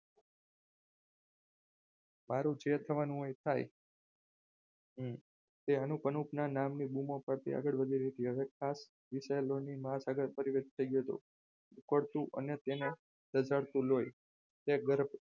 મારું જે થવાનું હોય એ થાય તે અનુપ અનુપ નામની બૂમો પાર્ટી આગળ વધી રહી હતી હવે મહાસાગર પરિવાર થઈ ગયો હતો ઊકળતું અને તેને રજડતું લોહી તે